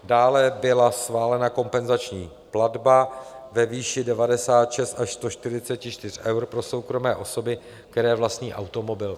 Dále byla schválena kompenzační platba ve výši 96 až 144 eur pro soukromé osoby, které vlastní automobil.